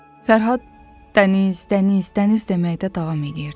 Fərhad dəniz, dəniz, dəniz deməkdə davam eləyirdi.